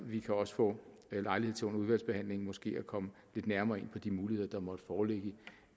vi kan også få lejlighed til under udvalgsbehandlingen måske at komme lidt nærmere ind på de muligheder der måtte foreligge